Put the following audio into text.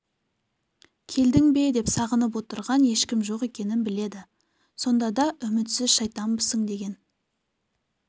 келдің бе деп сағынып отырған ешкім жоқ екенін біледі сонда да үмітсіз шайтанбысың деген